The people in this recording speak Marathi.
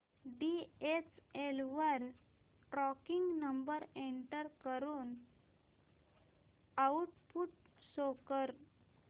डीएचएल वर ट्रॅकिंग नंबर एंटर करून आउटपुट शो कर